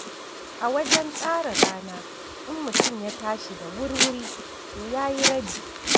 A wajen tsara rana, in mutum ya tashi da wurwuri, to ya yi rabi.